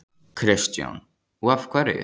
Kristján: Og af hverju?